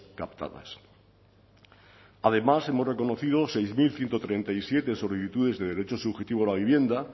captadas además hemos reconocido seis mil ciento treinta y siete solicitudes de derecho subjetivo a la vivienda